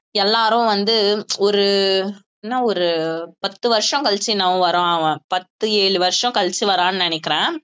எல்லாரும் வந்து ஒரு என்ன ஒரு பத்து வருஷம் கழிச்சு என்னமோ வர்றான் அவன் பத்து ஏழு வருஷம் கழிச்சு வர்றான்னு நினைக்கிறேன்